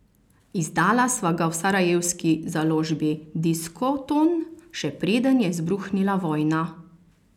Izdala sva ga v sarajevski založbi Diskoton, še preden je izbruhnila vojna.